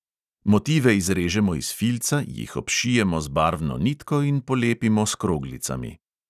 Motive izrežemo iz filca, jih obšijemo z barvno nitko in polepimo s kroglicami.